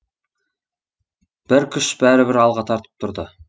бір күш бәрібір алға тартып тұрды